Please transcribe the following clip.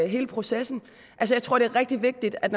hele processen jeg tror det er rigtig vigtigt at